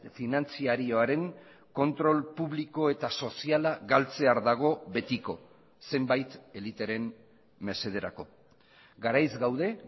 finantzarioaren kontrol publiko eta soziala galtzear dago betiko zenbait eliteren mesederako garaiz gaude